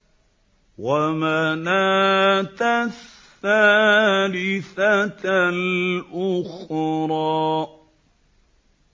وَمَنَاةَ الثَّالِثَةَ الْأُخْرَىٰ